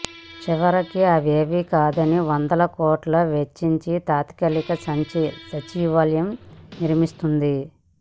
చివరికి అవేమీ కాదని వందల కోట్లు వెచ్చించి తాత్కాలిక సచివాలయం నిర్మిస్తోంది